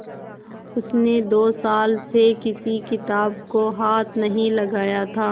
उसने दो साल से किसी किताब को हाथ नहीं लगाया था